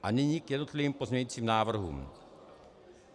A nyní k jednotlivým pozměňovacím návrhům.